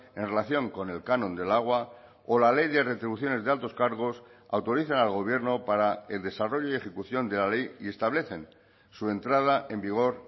en relación con el canon del agua o la ley de retribuciones de altos cargos autorizan al gobierno para el desarrollo y ejecución de la ley y establecen su entrada en vigor